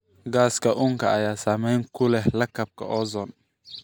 Gaaska uunka ayaa saameyn ku leh lakabka ozon.